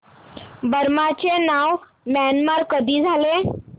Burma चे नाव Myanmar कधी झाले